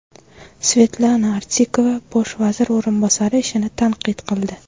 Svetlana Artikova bosh vazir o‘rinbosari ishini tanqid qildi.